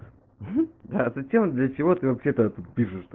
да зачем для чего ты вообще тогда тут пишешь